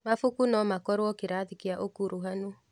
Mabuku no makorwo kĩrathi kĩa ũkuruhanu.